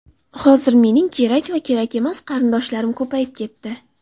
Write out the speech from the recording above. Hozir mening kerak va kerakmas qarindoshlarim ko‘payib ketdi.